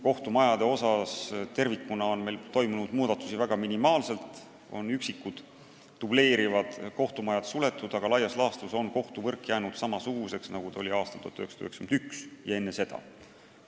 Kohtumajade osas on meil muutusi toimunud minimaalselt, üksikud dubleerivad kohtumajad on suletud, aga laias laastus on kohtuvõrk jäänud samasuguseks, nagu ta oli aastal 1991 ja enne seda.